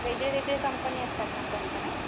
वेगळेवेगळे कंपनी असतात मग त्यांकडे?